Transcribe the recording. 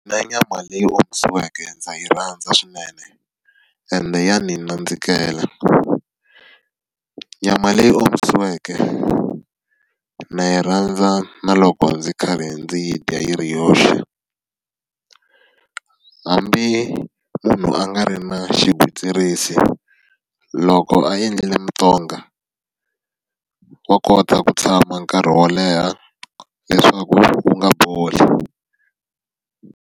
Na nyama leyi omisiweke ndza yi rhandza swinene, ende ya ndzi nandzikela. Nyama leyi omisiweke ndza yi rhandza na loko ndzi karhi ndzi yi dya yi ri yoxe. Hambi munhu a nga ri na xigwitsirisi, loko a endlile mitonga, wa kota ku tshama nkarhi wo leha leswaku wu va wu nga boli.